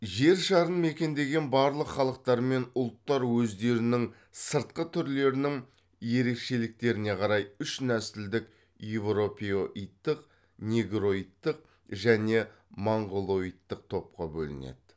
жер шарын мекендеген барлық халықтармен ұлттар өздерінің сыртқы түрлерінің ерекшеліктеріне қарай үш нәсілдік еуропеоидтық негроидтық және монғолоидтық топқа бөлінеді